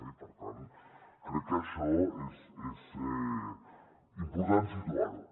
i per tant crec que això és important situar ho